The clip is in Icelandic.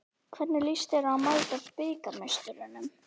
Hvernig lýst þér á að mæta bikarmeisturunum?